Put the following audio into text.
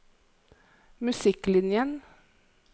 musikklinjen